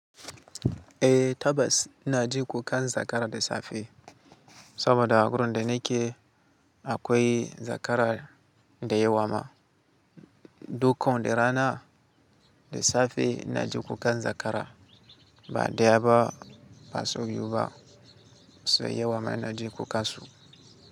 Eh tabbas ina ji kukan zakara da safe, saboda a gurin da nake akoi zakara da yewa ma. Dukkan da ranan da safe ina ji kukan zakara, ba ɗaya ba ba sau biyu ba. Sau yawa ma ina ji kukan su.